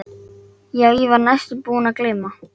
En hversu mikil áhrif hafa útlendingar á fasteignamarkaðinn?